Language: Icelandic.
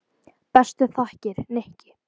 Bestu þakkir, Nikki.